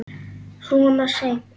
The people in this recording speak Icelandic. Svona seint?